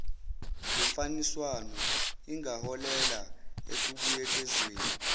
lomfaniswano ingaholela ekubuyekezweni